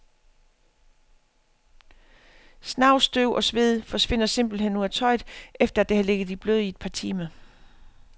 Snavs, støv og sved forsvinder simpelthen ud af tøjet, efter det har ligget i blød i et par timer.